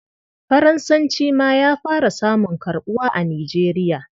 Faransanci ma ya fara samun karɓuwa a Nigeria.